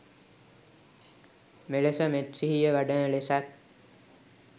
මෙලෙස මෙත් සිහිය වඩන ලෙසත්